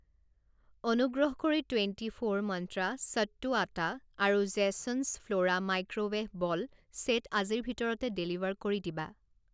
অনুগ্ৰহ কৰি twenty four মন্ত্ৰা সত্তু আটা আৰু জেছন্‌ছ ফ্ল'ৰা মাইক্ৰৱে'ভ ব'ল ছেট আজিৰ ভিতৰতে ডেলিভাৰ কৰি দিবা।